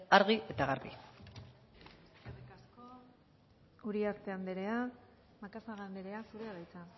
argi eta garbi eskerrik asko uriarte anderea macazaga anderea zurea da